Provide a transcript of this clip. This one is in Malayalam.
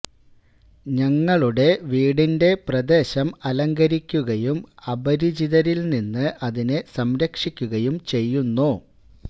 ഞങ്ങളുടെ വീടിന്റെ പ്രദേശം അലങ്കരിക്കുകയും അപരിചിതരിൽ നിന്ന് അതിനെ സംരക്ഷിക്കുകയും ചെയ്യുന്നു